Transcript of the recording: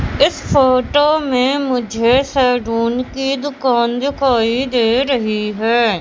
इस फोटो में मुझे सैडून की दुकान दिखाई दे रही हैं।